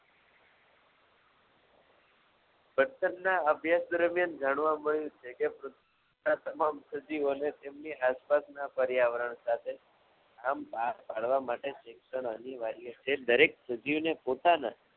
તદ્દનના અભ્યાસ મુજબ જાણવા મળ્યું છે કે એની આસપાસના પર્યાવરણ સાથે આ માણવા માટે શિક્ષણ અનિવાર્ય છે દરેક સજીવને પોતાના